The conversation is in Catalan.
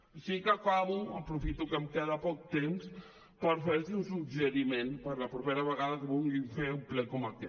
així que acabo aprofito que em queda poc temps per fer los un suggeriment per a la propera vegada que vulguin fer un ple com aquest